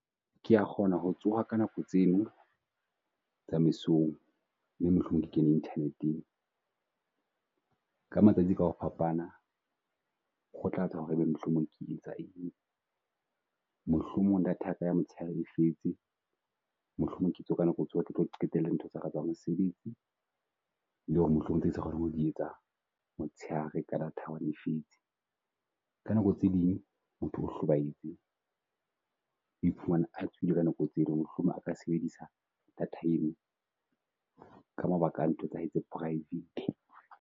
Ke ya kgona ho tsoha ka nako tseno tsa mesong, mme mohlomong ke kene Internet-eng. Ka matsatsi ka ho fapana ho tlatsa ho re ebe mohlomong ke etsa eng, mohlomong data ya ka ya motshehare e , mohlomong ke itse o ka nako tsohle, ke tlo qetella ntho tsaka tsa mesebetsi. Le ho re mohlomong tse ke sa kgonang ho di etsa motshehare ka data e . Ka nako tse ding motho o hlobahetse, o e phumana a tsoile ka nako tse ekng ho re mohlomong aka sebedisa data eno ka mabaka a ntho tsa hae tsa praefete.